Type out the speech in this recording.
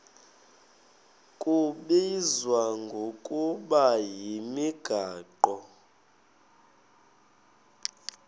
kubizwa ngokuba yimigaqo